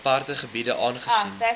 aparte gebiede aangesien